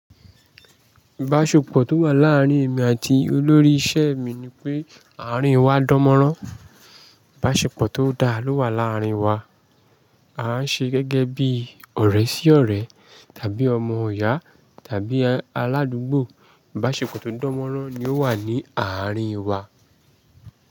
Ibáṣepọ̀ tó wà láàárín èmi àti olórí isẹ mi ni pé àárín wa dánmọ́rán. Ibáṣepọ̀ tó dá ló wà láàárín wa. A n ṣe gẹ́gẹ́ bí ọ̀rẹ́ sí ọ̀rẹ́ tàbí ọmọ iyá tàbí aládùúgbò. Ibáṣepọ̀ tó dánmọ́rán ni ó wà ní àárín wa.